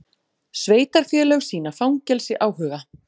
Sveitarfélög sýna fangelsi áhuga